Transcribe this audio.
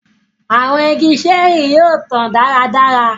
Àwọn ìgi ṣẹẹri yóò tàn dáradára